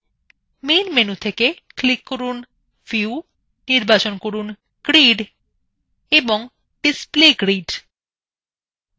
main menu থেকে click from view নির্বাচন from grid এবং display grid